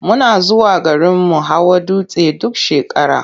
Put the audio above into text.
Muna zuwa garinmu hawa dutse duk shekara.